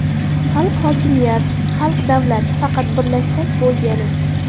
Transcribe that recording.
Xalq hokimiyat, xalq davlat, faqat birlashsak bo‘lgani.